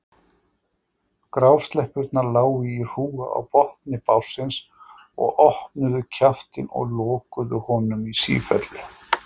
Grásleppurnar lágu í hrúgu á botni bátsins og opnuðu kjaftinn og lokuðu honum í sífellu.